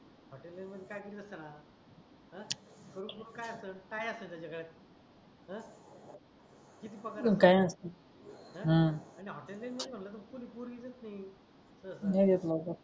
हॉटेलिन काय केल असत णा अं कडूस लोक काय असत काय असत त्याच्या गड्यात अं किती पगार काही नसते अं हम्म आणि हॉटेलिन मध्ये म्हणल कोणी पोरगी देत नाही तर अस नाही येत नाही